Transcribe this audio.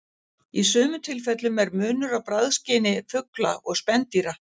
Í sumum tilfellum er munur á bragðskyni fugla og spendýra.